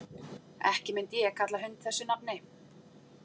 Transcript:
Ekki myndi ég kalla hund þessu nafni.